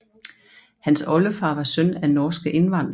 Hans oldefar var søn af norske indvandrere